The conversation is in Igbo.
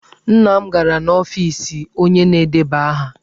Nna m gara n'ọfiisi onye na-edeba aha.